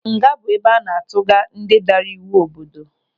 Nga bụ ebe a na-atuga ndị daara iwu obodo.